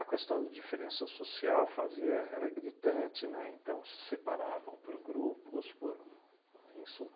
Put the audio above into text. questão de diferença social fazia era gritante, né, então se separavam por grupos, por... bom, em suma.